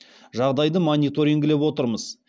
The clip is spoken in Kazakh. жағдайды мониторингілеп отырмыз